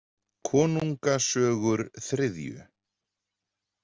Konunga sögur III.